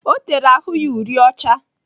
O tere ahụ ya uri ọcha.